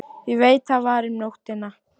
Ég veit það var um nóttina.